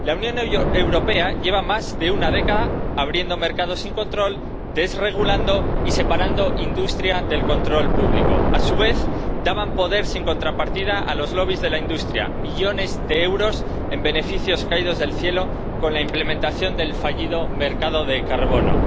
La Unión Europea lleva más de una década abriendo mercados sin control, desregulando y separando industria del control público. A su vez, daban poder sin contrapartida a los lobbies de la industria millones de euros en beneficios caídos del cielo con la implementación del fallido mercado del carbono.